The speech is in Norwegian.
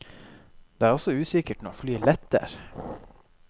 Det er også usikkert når flyet letter.